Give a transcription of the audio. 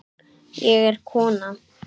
Ég er kona